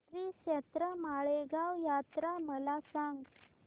श्रीक्षेत्र माळेगाव यात्रा मला सांग